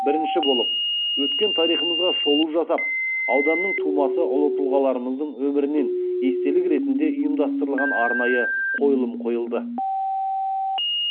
бірінші болып өткен тарихымызға шолу жасап ауданның тумасы ұлы тұлғаларымыздың өмірінен естелік ретінде ұйымдастырылған арнайы қойылым қойылды